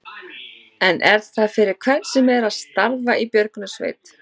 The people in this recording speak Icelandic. En er það fyrir hvern sem er að starfa í björgunarsveit?